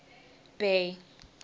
bay